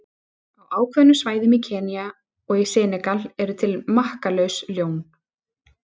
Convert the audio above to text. Á ákveðnum svæðum í Kenía og í Senegal eru til makkalaus ljón.